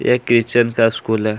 ये किचन का स्कूल हैं।